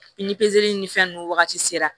Ni ni ni fɛn nunnu wagati sera